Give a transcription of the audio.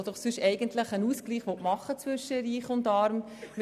Sie will sonst eigentlich für einen Ausgleich zwischen Reich und Arm sorgen.